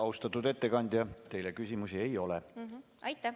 Austatud ettekandja, teile küsimusi ei ole.